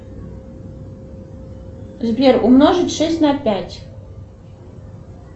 сбер умножить шесть на пять